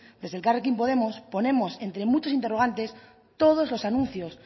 desde elkarrekin podemos ponemos entre muchos interrogantes todos los anuncios